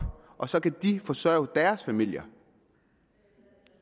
og så kan de forsørge deres familier